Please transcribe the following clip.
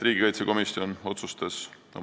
Riigikaitsekomisjon otsustas oma s.